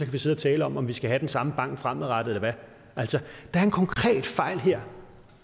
vi sidde og tale om om vi skal have den samme bank fremadrettet eller hvad altså der er en konkret fejl her